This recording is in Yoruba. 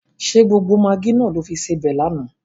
Ṣé gbogbo magí náà lo fi sebẹ̀ lánàá?